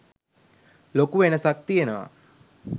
ලොකු වෙනසක් තියෙනවා?